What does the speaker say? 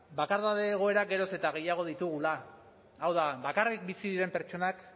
bakardade egoerak geroz eta gehiago ditugula hau da bakarrik bizi diren pertsonak